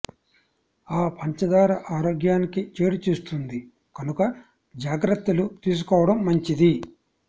ఆ పంచదార ఆరోగ్యానికి చేటు చేస్తుంది కనుక జాగ్రత్తలు తీసుకోవటం మంచిది